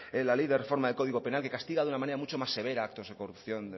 la ley de reforma del código penal que castiga de una manera mucho más severa actos de corrupción